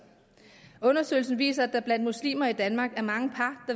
undersøgelsen viste at der blandt muslimer i danmark er mange par